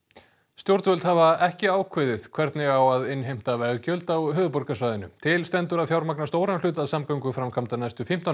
stjórnvöld hafa ekki ákveðið hvernig á að innheimta veggjöld á höfuðborgarsvæðinu til stendur að fjármagna stóran hluta samgönguframkvæmda næstu fimmtán